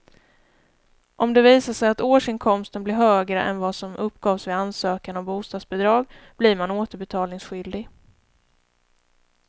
Om det visar sig att årsinkomsten blev högre än vad som uppgavs vid ansökan om bostadsbidrag blir man återbetalningsskyldig.